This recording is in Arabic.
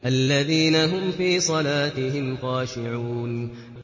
الَّذِينَ هُمْ فِي صَلَاتِهِمْ خَاشِعُونَ